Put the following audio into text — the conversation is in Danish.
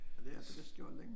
Ja det har det vist gjort længe